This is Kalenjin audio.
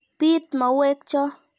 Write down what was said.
Piit mauwek cho.